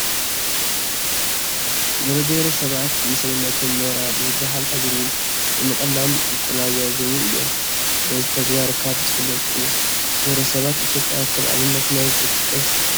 ገለ ብሄረሰባት ንሰውነቶም ኖራ ብዝመስል ህብሪ ብምቕላም ይቆነጃጀዉ እዮም፡፡ በዚ ተግባር ካብ ዝፍለጡ ብሄረሰባት ኢትዮጵያ ከም ኣብነት መን ክጥቀስ ይከኣል?